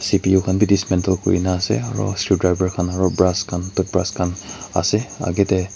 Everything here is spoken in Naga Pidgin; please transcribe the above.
C_P_U khan bi dismantle kurina ase aru screwdriver khan aro brass khan toothbrass ase agey tey.